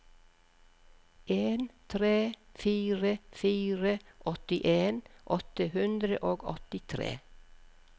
en tre fire fire åttien åtte hundre og åttitre